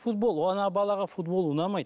футбол ана балаға футбол ұнамайды